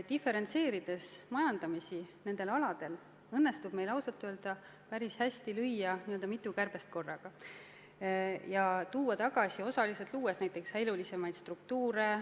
Diferentseerides majandamist nendel aladel, õnnestub meil päris hästi lüüa mitu kärbest korraga ja luua uuesti elurikkamaid struktuure.